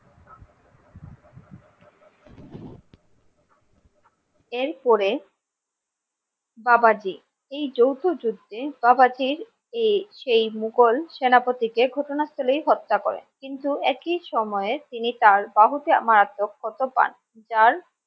এরপরে বাবাজী এই যৌথ যুদ্ধে বাবাজীর এই সেই মুঘল সেনাপতি কে ঘটনাস্থলেই হত্যা করে কিন্তু একই সময়ে তিনি তার বাহুতে মারাত্মক ক্ষত পান যার